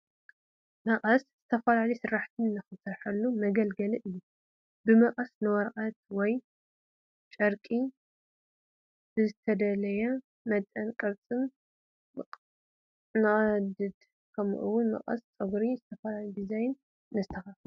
መቐስ ዝተፈላለዩ ስራሕቲ ንሰርሐሉ መገልገሊ እዩ፡፡ ብመቐስ ንወረቐት ወይ ጨርቂ ብዝተደለየ መጠንን ቅርፅን ንቐድድ፡፡ ከምኡውን ብመቐስ ፀጉሪ ብዝተፈላለየ ዲዛይን ነስተኻኽል፡፡